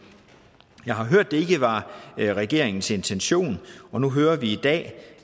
jeg har hørt det ikke var regeringens intention og nu hører vi i dag